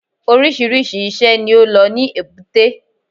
Oríṣìíríṣìí i iṣẹ́ ni ó lọ ní èbúté